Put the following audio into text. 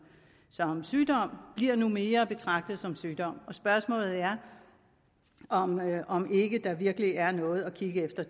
som sygdom bliver nu mere betragtet som sygdom og spørgsmålet er om om ikke der virkelig er noget at kigge efter